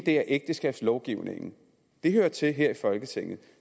er ægteskabslovgivningen den hører til her i folketinget